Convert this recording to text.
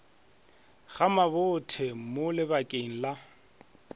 ga mabothe mo lebakeng la